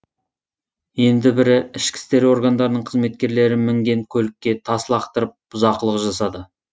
енді бірі ішкі істер органдарының қызметкерлері мінген көлікке тас лақтырып бұзақылық жасады